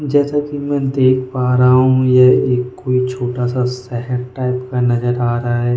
जैसा कि मैं देख पा रहा हूं यह एक कोई छोटा सा शहर टाइप का नजर आ रहा है।